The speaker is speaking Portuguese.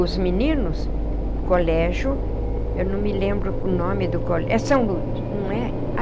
Os meninos, colégio, eu não me lembro o nome do colégio, é São Luís, não é?